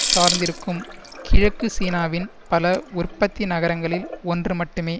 சார்ந்திருக்கும் கிழக்கு சீனாவின் பல உற்பத்தி நகரங்களில் ஒன்று மட்டுமே